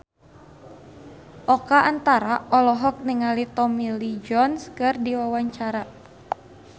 Oka Antara olohok ningali Tommy Lee Jones keur diwawancara